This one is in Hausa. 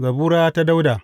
Zabura ta Dawuda.